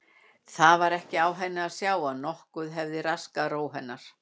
Það var ekki á henni að sjá að nokkuð hefði raskað ró hennar.